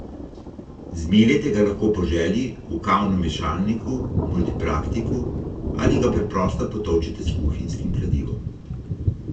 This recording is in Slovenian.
Zmeljete ga lahko po želji, v kavnem mešalniku, multipraktiku ali ga preprosto potolčete s kuhinjskim kladivom.